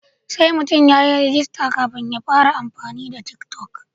Sai mutum ya yi rajista kafin ya fara amfani da tik toc.